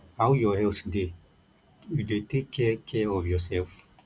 how your health dey you dey take care care of yourself